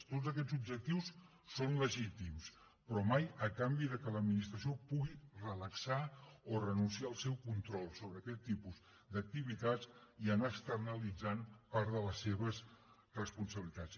tots aquests objectius són legítims però mai a canvi que l’administració pugui relaxar o renunciar al seu control sobre aquest tipus d’activitats i anar externalitzant part de les seves responsabilitats